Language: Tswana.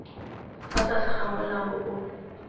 fa tlase ga molao o